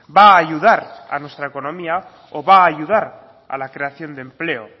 va a ayudar a nuestra economía o va a ayudar a la creación de empleo